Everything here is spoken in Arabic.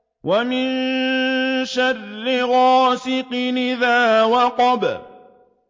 وَمِن شَرِّ غَاسِقٍ إِذَا وَقَبَ